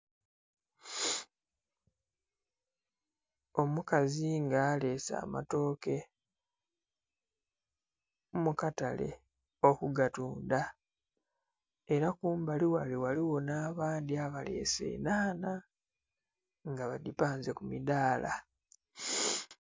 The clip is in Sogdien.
Omukazi nga aleese amatooke mukatale okugatunda era kumbali ghano ghaligho n'abandhi abaleese enhanha nga badhipanze kumidhaala.